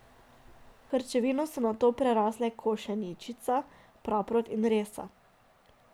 Krčevino so nato prerasle košeničica, praprot in resa.